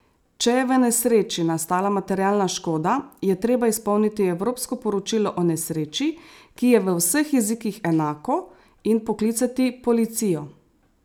Če je v nesreči nastala materialna škoda, je treba izpolniti evropsko poročilo o nesreči, ki je v vseh jezikih enako, in poklicati policijo.